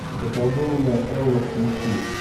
заколдованная элла включи